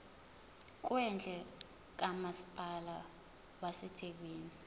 kwendle kamasipala wasethekwini